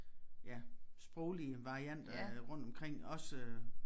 Ja sproglige varianter rundtomkring også